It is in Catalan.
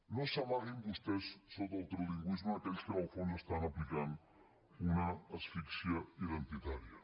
no s’amaguin vostès sota el trilingüisme aquells que en el fons estan aplicant una asfíxia identitària